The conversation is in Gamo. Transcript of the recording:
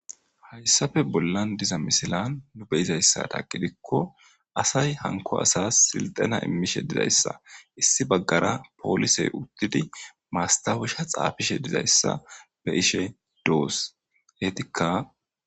hayssafe bollan diza misilan nu beyizayssa taqidikko asay hanko asas silxana immishe dizayssa issi baggara poolisey uttidi maastawusha xaafishe dizayssa be ishe doos heetikka